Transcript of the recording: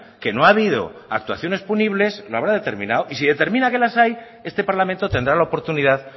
que no ha habido actuaciones punibles lo habrá determinado y si determinada que las hay este parlamento tendrá la oportunidad